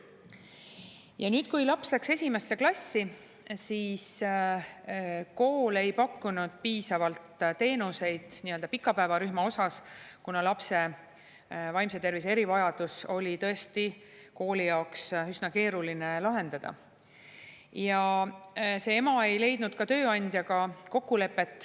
Ja nüüd, kui laps läks esimesse klassi, siis kool ei pakkunud piisavalt teenuseid nii-öelda pikapäevarühma osas, kuna lapse vaimse tervise erivajadus oli tõesti kooli jaoks üsna keeruline lahendada.